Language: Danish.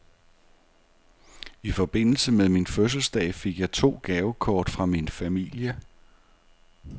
I forbindelse med min fødselsdag fik jeg to gavekort fra min familie.